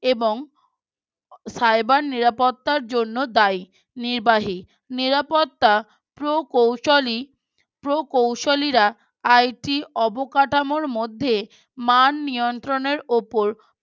এবং Cyber নিরাপত্তার জন্য দায়ী নির্বাহী নিরাপত্তা প্রোকৌশলী প্রোকৌশলীরা IT অবকাঠামোর মধ্যে মান নিয়ন্ত্রণের উপর